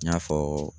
I y'a fɔ